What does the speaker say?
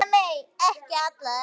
Eða nei, ekki allir!